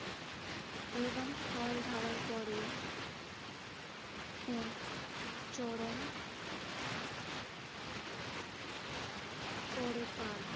এবং ফল ধরার পরে এক চরম করে পান।